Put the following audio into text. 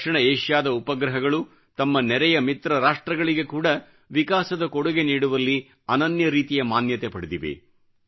ದಕ್ಷಿಣ ಏಷ್ಯಾದ ಉಪಗ್ರಹಗಳು ತಮ್ಮ ನೆರೆಯ ಮಿತ್ರ ರಾಷ್ಟ್ರಗಳಿಗೆ ಕೂಡ ವಿಕಾಸದ ಕೊಡುಗೆ ನೀಡುವಲ್ಲಿ ಅನನ್ಯ ರೀತಿಯ ಮಾನ್ಯತೆ ಪಡೆದಿವೆ